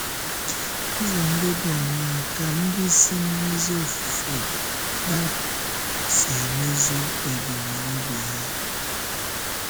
Ụzọ ndị dị áńàá ka ndị si n’ézí ofufe dápụ si emezu ebumnobi ha?